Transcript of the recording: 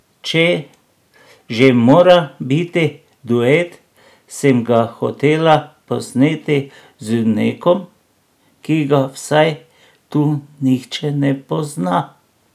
Če že mora biti duet, sem ga hotela posneti z nekom, ki ga vsaj tu nihče ne pozna.